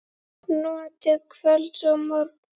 Notið kvölds og morgna.